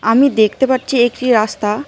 আমি দেখতে পারছি একটি রাস্তা।